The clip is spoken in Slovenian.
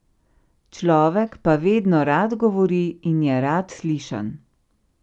Človek pa vedno rad govori in je rad slišan.